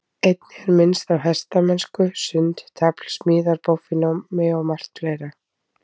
Einnig er minnst á hestamennsku, sund, tafl, smíðar, bogfimi og margt fleira.